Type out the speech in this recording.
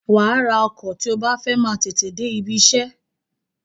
Wàá ra ọkọ̀ tí o bá fẹ́ máa tètè dé ibiṣẹ́.